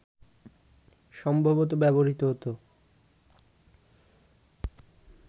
সম্ভবত ব্যবহৃত হত